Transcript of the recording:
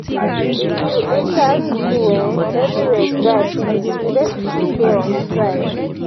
if you enter school eh everywhere dry finish. universities dey on strike.